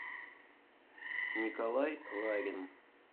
николай ларин